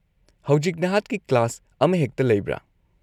-ꯍꯧꯖꯤꯛ ꯅꯍꯥꯛꯀꯤ ꯀ꯭ꯂꯥꯁ ꯑꯃꯍꯦꯛꯇ ꯂꯩꯕ꯭ꯔꯥ?